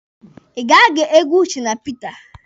Ị ga-ege egwu Shina Peter?